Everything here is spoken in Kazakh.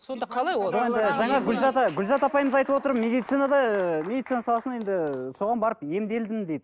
сонда қалай ол жоқ енді жаңа гүлзада гүлзат апайымыз айтып отыр медицинада медицина саласында енді соған барып емделдім дейді